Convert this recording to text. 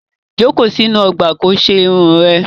Jókòó sínú ọgbà ko ṣe irun rẹ!